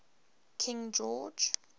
king george